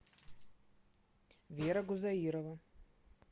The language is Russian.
вера гузаирова